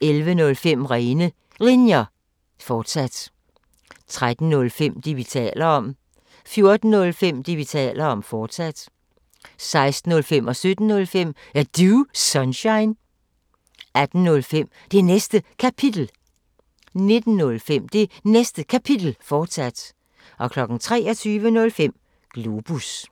11:05: Rene Linjer, fortsat 13:05: Det, vi taler om 14:05: Det, vi taler om, fortsat 16:05: Er Du Sunshine? 17:05: Er Du Sunshine? 18:05: Det Næste Kapitel 19:05: Det Næste Kapitel, fortsat 23:05: Globus